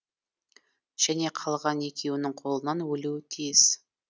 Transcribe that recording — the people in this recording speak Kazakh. және қалған екеуінің қолынан өлуі тиіс